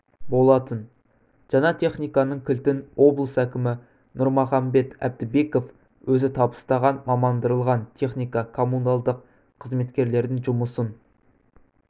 болатын жаңа техниканың кілтін облыс әкімі нұрмұхамбет әбдібеков өзі табыстаған мамандандырылған техника коммуналдық қызметкерлердің жұмысын